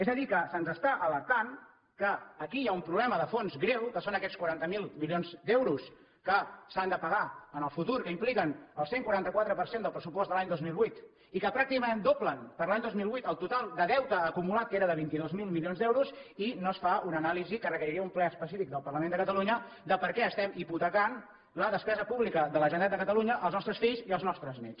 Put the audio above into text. és a dir que se’ns està alertant que aquí hi ha un problema de fons greu que són aquests quaranta miler milions d’euros que s’han de pagar en el futur que impliquen el cent i quaranta quatre per cent del pressupost de l’any dos mil vuit i que pràcticament doblen per a l’any dos mil vuit el total de deute acumulat que era de vint dos mil milions d’euros i no es fa una anàlisi que requeriria un ple específic del parlament de catalunya de per què estem hipotecant la despesa pública de la generalitat de catalunya als nostres fills i als nostres néts